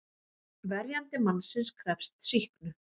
Verjandi mannsins krefst sýknu.